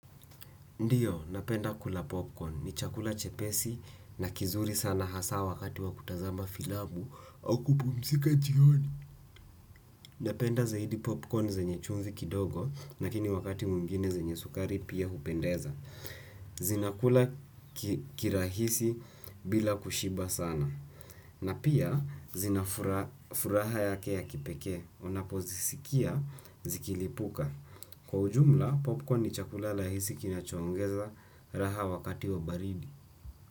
Ndiyo, napenda kula popcorn. Ni chakula chepesi na kizuri sana hasaa wakati wa kutazama filamu au kupumzika jioni. Napenda zaidi popcorn zenye chumvi kidogo, nakini wakati mwingine zenye sukari pia hupendeza. Zinakula kirahisi bila kushiba sana. Na pia, zina furaha yake ya kipekee. Unapozisikia, zikilipuka. Kwa ujumla popcorn ni chakula lahisi kinacho ongeza raha wakati wa baridi.